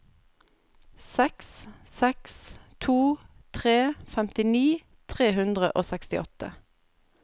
seks seks to tre femtini tre hundre og sekstiåtte